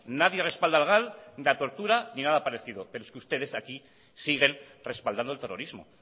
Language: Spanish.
nadie respalda al gal ni la tortura ni nada parecido pero es que ustedes aquí siguen respaldando el terrorismo